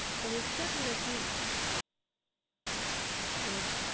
western নাকি wes~